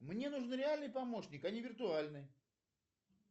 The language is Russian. мне нужен реальный помощник а не виртуальный